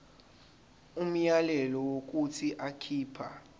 umyalelo wokuthi akhipha